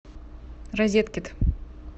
розеткет